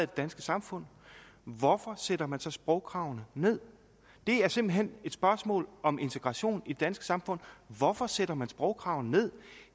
danske samfund hvorfor sætter man så sprogkravene ned det er simpelt hen et spørgsmål om integration i det danske samfund hvorfor sætter man sprogkravene ned